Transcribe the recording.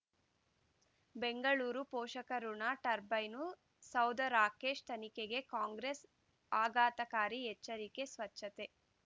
ಬೆಂಗಳೂರು ಪೋಷಕಋಣ ಟರ್ಬೈನು ಸೌಧ ರಾಕೇಶ್ ತನಿಖೆಗೆ ಕಾಂಗ್ರೆಸ್ ಆಘಾತಕಾರಿ ಎಚ್ಚರಿಕೆ ಸ್ವಚ್ಛತೆ